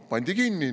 " Pandi kinni.